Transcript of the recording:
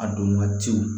A don waatiw